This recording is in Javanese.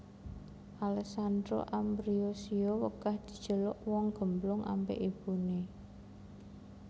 Alessandra Ambrossio wegah diceluk wong gemblung ambek ibune